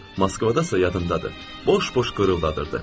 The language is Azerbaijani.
Moskvadasa yadındadır, boş-boş qüruldayırdı.